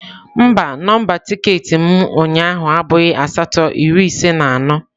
Mba, nọmba tiketi m ụnyaahụ abụghị asatọ iri ise na anọ.